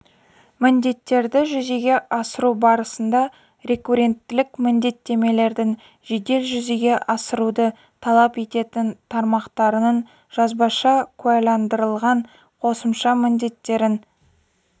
міндеттерді жүзеге асыру барысында рекуренттілік міндеттемелердің жедел жүзеге асыруды талап ететін тармақтарының жазбаша куәландырылған қосымша міндеттерін